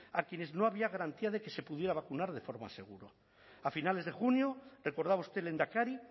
a quienes no había garantía de que se pudiera vacunar de forma segura a finales de junio recordaba usted lehendakari